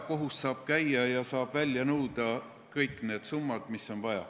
Kohut saab käia ja saab välja nõuda kõik need summad, mis vaja.